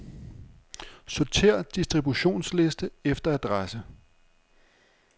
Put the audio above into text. Sortér distributionsliste efter adresse.